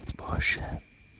позже